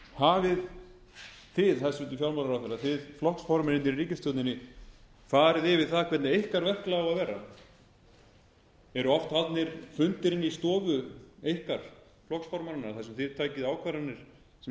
hafið þið hæstvirtur fjármálaráðherra þið flokksformennirnir í ríkisstjórninni farið yfir það hvernig ykkar verklag á að vera eru oft haldnir fundir inni í stofu ykkar flokksformannanna þar sem þið takið ákvarðanir sem